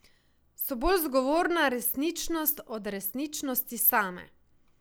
So bolj zgovorna resničnost od resničnosti same.